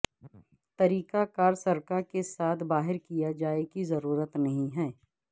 طریقہ کار سرکہ کے ساتھ باہر کیا جائے کی ضرورت نہیں ہے